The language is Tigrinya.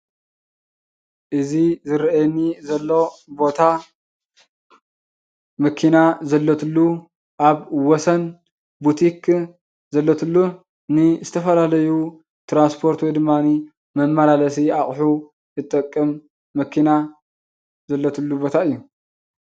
እዚ ዝርአየኒ ዘሎ ቦታ መኪና ዘለትሉ ኣብ ወሰን ቡቲክን ዘለትሉ ንዝተፈላለዩ ትራንስፖርት ወይ ድማኒ መመላለሲ ኣቑሑ ትጠቅም መኪና ዘለትሉ ቦታ እዩ።